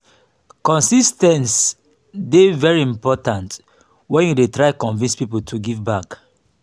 consis ten ce dey very important when you dey try convince pipo to give back